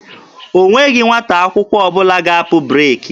O nweghị nwata akwụkwọ ọbụla ga-apụ breeki.